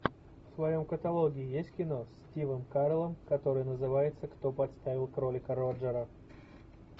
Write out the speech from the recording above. в твоем каталоге есть кино с стивом кареллом которое называется кто подставил кролика роджера